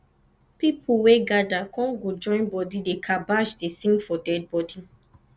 pipol wey gada kom go join bodi dey kabash dey sing for dead bodi